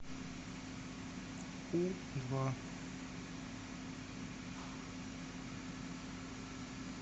у два